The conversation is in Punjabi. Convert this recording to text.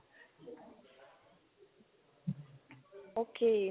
ok